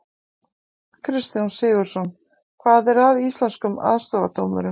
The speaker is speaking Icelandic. Kristján Sigurðsson: Hvað er að Íslenskum aðstoðardómurum?